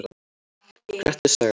Grettis saga.